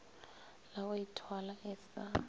la go ithwala e sa